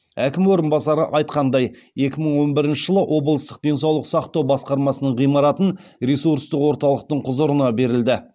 әкім орынбасары айтқандай екі мың он бірінші жылы облыстық денсаулық сақтау басқармасының ғимаратын ресурстық орталықтың құзырына берілді